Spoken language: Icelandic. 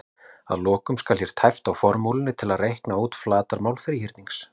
Að lokum skal hér tæpt á formúlu til að reikna út flatarmál þríhyrnings: